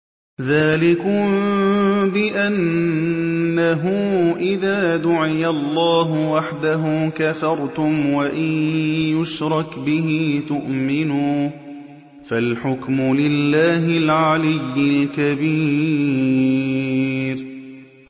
ذَٰلِكُم بِأَنَّهُ إِذَا دُعِيَ اللَّهُ وَحْدَهُ كَفَرْتُمْ ۖ وَإِن يُشْرَكْ بِهِ تُؤْمِنُوا ۚ فَالْحُكْمُ لِلَّهِ الْعَلِيِّ الْكَبِيرِ